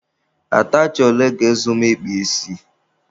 Atachị ole ga-ezu m ị kpa isi?